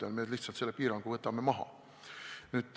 Nüüd me võtame lihtsalt selle piirangu maha.